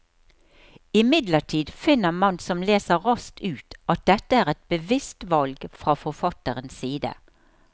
Imidlertid finner man som leser raskt ut at dette er et bevisst valg fra forfatterens side.